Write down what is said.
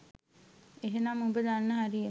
එහෙනම් උඹ දන්න හරිය.